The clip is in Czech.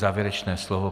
Závěrečné slovo.